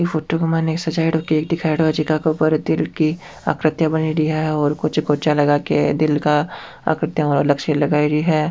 ई फोटो के माइन एक सजाइडो केक दिखाईडो है जीका पर दिल की आकृतिया बनेड़ी है और कुछ कुर्सियां लगा के दिन की आकृतिया अलग से लगाईडी है।